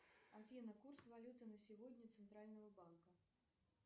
афина курс валюты на сегодня центрального банка